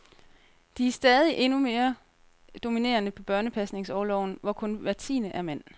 De er stadig endnu mere dominerende på børnepasningsorloven, hvor kun hver tiende er mand.